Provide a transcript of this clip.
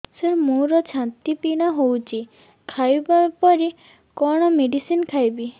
ସାର ମୋର ଛାତି ପୀଡା ହଉଚି ଖାଇବା ପରେ କଣ ମେଡିସିନ ଖାଇବି